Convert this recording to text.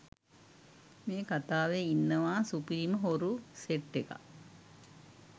මේ කථාවේ ඉන්නවා සුපිරිම හොරු සෙට් එකක්.